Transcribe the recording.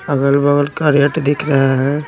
अगल-बगल का रेट दिख रहा हैं।